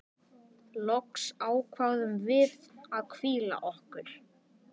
Loks ákváðum við að hvíla okkur.